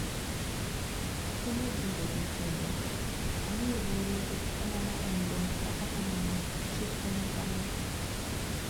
Okinyal winjogi kendo, " Amiye luor nikech huma ma en go kata kamano chik to nyaka luw